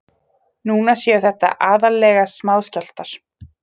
Núna séu þetta aðallega smáskjálftar